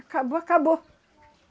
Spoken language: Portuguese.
Acabou, acabou.